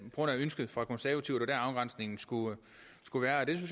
ønske fra konservative det der afgrænsningen skulle skulle være det